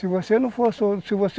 Se você